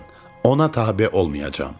Ona tabe olmayacam.